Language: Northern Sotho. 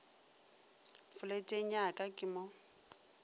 foleteng ya ka ke mo